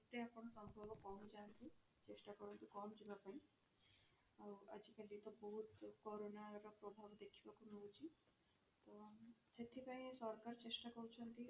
ଆପଣ ସମ୍ଭବ ପହଞ୍ଚାନ୍ତୁ ଚେଷ୍ଟା କରନ୍ତୁ ପହଞ୍ଚିବା ପାଇଁ ଆଉ ଆଜି କା date ରେ ବହୁତ କରୋନା ର ପ୍ରଭାବ ଦେଖିବାକୁ ମିଳୁଛି ତ ସେଥିପାଇଁ ସରକାର ଚେଷ୍ଟା କରୁଛନ୍ତି